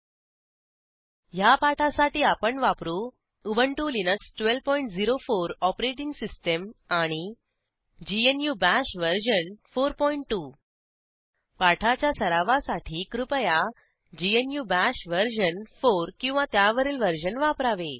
httpwwwspoken tutorialओआरजी ह्या पाठासाठी आपण वापरू उबंटु लिनक्स 1204 ओएस आणि ग्नू बाश वर्जन 42 पाठाच्या सरावासाठी कृपया ग्नू बाश वर्जन 4 किंवा त्यावरील वर्जन वापरावे